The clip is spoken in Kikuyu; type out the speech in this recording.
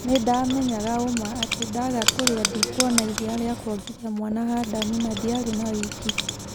Nĩ ndamenyaga ũmaa atĩ ndaga kũria ndikuona iria rĩa kuongithia mwana Hadamu na ndiarĩ na-wĩki."